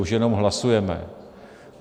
Už jenom hlasujeme.